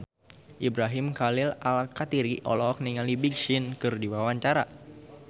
Ibrahim Khalil Alkatiri olohok ningali Big Sean keur diwawancara